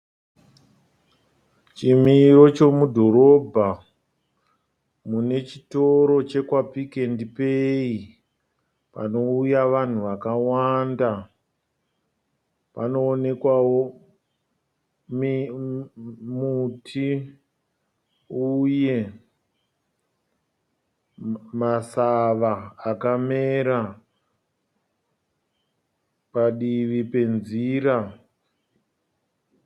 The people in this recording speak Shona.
Chimiro chomudhorobha mune chitoro chekwa Pick and Pay, panouya vanhu vakawanda, panoonekwawo muti uye masawa akamera padivi penzira.